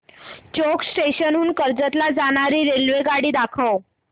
चौक station हून कर्जत ला जाणारी रेल्वेगाडी दाखव